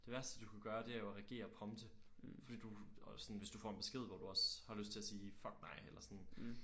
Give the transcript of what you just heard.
Det værste du kan gøre det er jo at reagere promte. Fordi du og sådan hvis du får en besked hvor du også har lyst til at sige fuck dig eller sådan